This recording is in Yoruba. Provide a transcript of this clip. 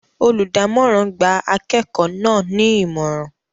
Olùdámọ̀ràn gba akẹ́kọ̀ọ́ náà ní Ìmọ̀ràn